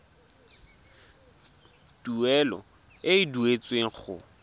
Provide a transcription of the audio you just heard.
tuelo e e duetsweng go